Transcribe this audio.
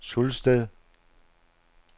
Sulsted